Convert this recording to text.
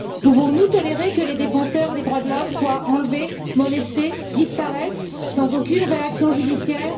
Pouvons nous tolérer que les défenseurs des droits de l'homme soient enlevés, molestés, disparaissent sans aucune réaction judiciaire?